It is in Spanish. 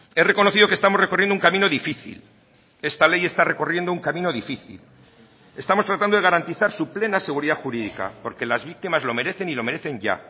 he reconocido que estamos recorriendo un camino difícil esta ley está recorriendo un camino difícil estamos tratando de garantizar su plena seguridad jurídica porque las víctimas lo merecen y lo merecen ya